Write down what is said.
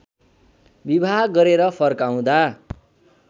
विवाह गरेर फर्काउँदा